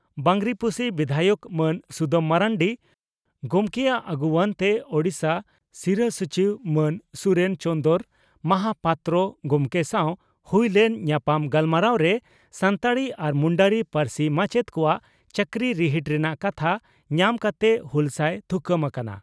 ᱵᱟᱸᱜᱽᱨᱤᱯᱳᱥᱤ ᱵᱤᱫᱷᱟᱭᱚᱠ ᱢᱟᱱ ᱥᱩᱫᱟᱢ ᱢᱟᱨᱱᱰᱤ ᱜᱚᱢᱠᱮᱭᱟᱜ ᱟᱹᱜᱩᱣᱟᱹᱱᱛᱮ ᱳᱰᱤᱥᱟ ᱥᱤᱨᱟᱹ ᱥᱚᱪᱤᱵᱽ ᱢᱟᱱ ᱥᱩᱨᱮᱱ ᱪᱚᱱᱫᱽᱨᱚ ᱢᱟᱦᱟᱯᱟᱛᱨᱚ ᱜᱚᱢᱠᱮ ᱥᱟᱣ ᱦᱩᱭ ᱞᱮᱱ ᱧᱟᱯᱟᱢ ᱜᱟᱞᱢᱟᱨᱟᱣᱨᱮ ᱥᱟᱱᱛᱟᱲᱤ ᱟᱨ ᱢᱩᱱᱰᱟᱹᱨᱤ ᱯᱟᱹᱨᱥᱤ ᱢᱟᱪᱮᱛ ᱠᱚᱣᱟᱜ ᱪᱟᱹᱠᱨᱤ ᱨᱤᱦᱤᱴ ᱨᱮᱱᱟᱜ ᱠᱟᱛᱷᱟ ᱧᱟᱢ ᱠᱟᱛᱮ ᱦᱩᱞᱥᱟᱹᱭ ᱛᱷᱩᱠᱟᱹᱢ ᱟᱠᱟᱱᱟ ᱾